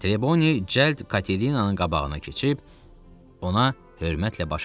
Treboni cəld Katerinanın qabağına keçib ona hörmətlə baş əydi.